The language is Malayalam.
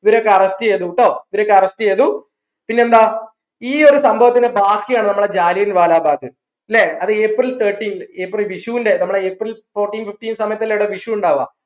ഇവരൊക്കെ arrest ചെയ്തു ട്ടോ ഇവരൊക്കെ arrest ചെയ്തു പിന്നെന്താ ഈ ഒരു സംഭവത്തിന്റെ ബാക്കിയാണ് നമ്മളെ ജാലിയൻ വല ബാഗ് ല്ലേ അത് april thirteen april വിഷുന്റെ നമ്മളെ april fourteen fifteen സമയതല്ലേ ഈട വിഷു ഇണ്ടാവാ